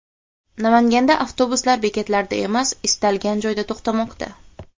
Namanganda avtobuslar bekatlarda emas, istalgan joyda to‘xtamoqda .